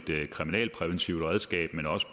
kriminalpræventivt redskab men også